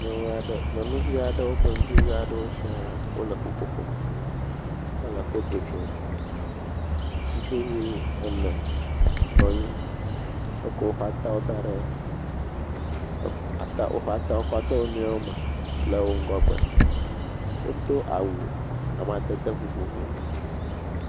…nyɔnuvi aɖewo kple ŋutsuvi aɖewo sia wole ƒuƒoƒo me hele foto tsom. Ŋutsu ene nɔ anyi. Wokɔ woƒe atawo da ɖe er woƒe atawo kɔ de wonuiwo me le ŋgɔgbe. Wodo awu amadede vovovowo.